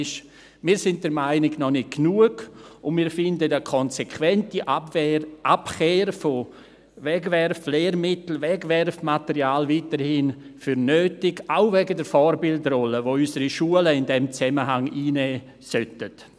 Aber wir sind der Meinung, noch nicht genug, und wir finden eine konsequentere Abkehr von Wegwerflehrmitteln und Wegwerfmaterial weiterhin nötig, auch wegen der Vorbildrolle, die unsere Schulen in diesem Zusammenhang einnehmen sollten.